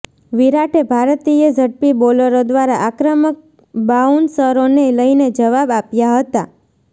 વિરાટે ભારતીય ઝડપી બોલરો દ્વારા આક્રમક બાઉન્સરોને લઇને જવાબ આપ્યા હતા